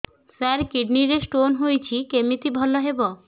ସାର kidney ରେ stone ହେଇଛି କମିତି ଭଲ ହେବ